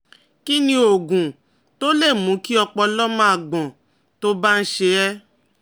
Kí ni oògùn tó lè mú kí ọpọlọ máa gbọ́n tó bá ń ṣe é?